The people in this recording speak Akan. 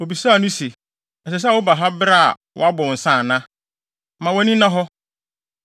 Obisaa no se, “Ɛsɛ sɛ woba ha bere a woabow nsa ana? Ma wʼani nna hɔ!”